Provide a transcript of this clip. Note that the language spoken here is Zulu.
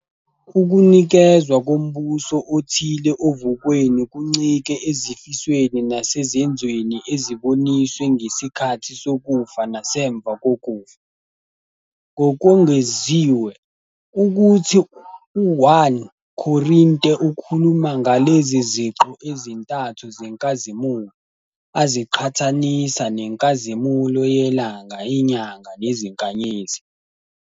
Ukunikezwa kombuso othile ovukweni kuncike ezifisweni nasezenzweni eziboniswe ngesikhathi sokufa nasemva kokufa. Ngokwengeziwe, ukuthi u- 1 Korinteukhuluma ngalezi ziqu ezintathu zenkazimulo, aziqhathanisa nenkazimulo yelanga, inyanga nezinkanyezi.